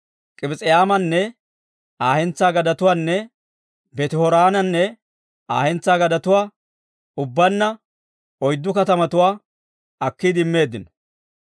K'ibis'aymmanne Aa hentsaa gadetuwaanne Beeti-Horoonanne Aa hentsaa gadetuwaa, ubbaanna oyddu katamatuwaa akkiide immeeddino.